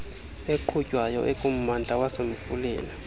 eqhutywayo ekummandla wasemfuleni